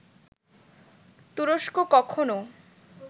তুরস্ক কখনো